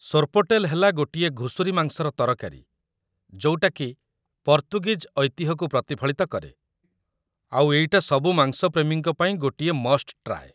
ସୋର୍ପୋଟେଲ୍ ହେଲା ଗୋଟିଏ ଘୁଷୁରି ମାଂସର ତରକାରୀ ଯୋଉଟାକି ପର୍ତ୍ତୁଗୀଜ୍ ଐତିହ୍ୟକୁ ପ୍ରତିଫଳିତ କରେ, ଆଉ ଏଇଟା ସବୁ ମାଂସ ପ୍ରେମୀଙ୍କ ପାଇଁ ଗୋଟିଏ ମଷ୍ଟ ଟ୍ରାଏ ।